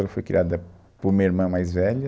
Ela foi criada por uma irmã mais velha.